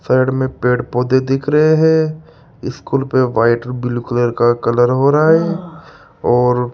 side में पेड़ पौधे दिख रहे हैं स्कूल पे व्हाइट ब्लू कलर का कलर हो रहा है और --